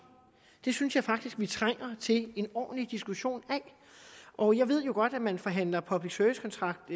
det synes jeg faktisk vi trænger til en ordentlig diskussion af og jeg ved jo godt at man forhandler public service kontrakt